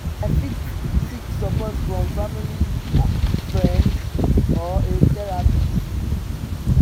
i fit seek support from freinds family or a therapist.